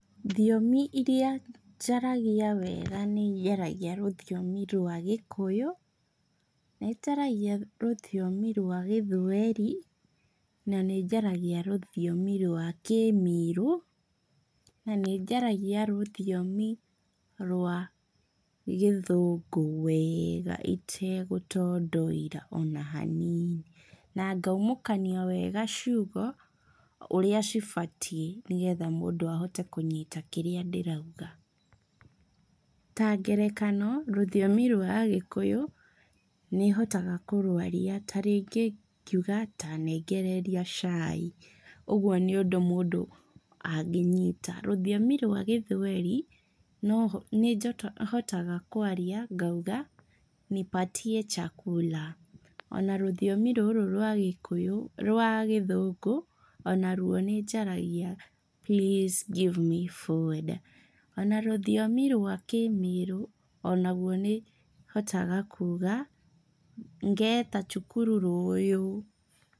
Thiomi iria njaragia wega nĩ njaragia rũthiomi rwa gĩkũyũ, nĩnjaragia rũthiomi rwa gĩthweri, na nĩnjaragia rũthiomi rwa kĩmĩrũ, na nĩnjaragia rũthiomi rwa gĩthũngũ wega itegũtondoira ona hanini. Na ngaumũkania wega ciugo, ũrĩa cĩbatiĩ, nĩgetha mũndũ ahote kũnyita kĩrĩa ndĩrauga. Ta ngerekano, rũthiomi rwa agĩkũyũ, nĩhotaga kũrwaria tarĩngĩ ngiuga ta nengereria cai, ũguo nĩ ũndũ mũndũ angĩnyita. Ruthiomi rwa gĩthweri, noho nĩjota nĩhotaga kwarĩa ngauga nipatie chakula ona rũthiomi rũrũ rwa gĩkũyũ, rwa gĩthũngũ, onarwo nĩnjaragia please give me food ona rũthiomi rwa kĩmĩrũ, onaguo nĩhotaga kuga ngeta chukuru rũuyu.